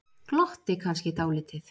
Glotti kannski dálítið.